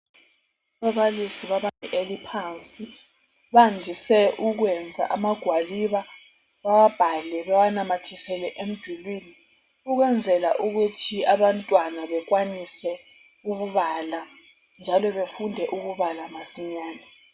Ababalisi babantwana bebanga eliphansi bandise ukwenza amagwaliba bawabhale bewanamathisele emdulini ukwenzela ukuthi abantwana bekwanise ukubala njalo befunde ukubala masinyane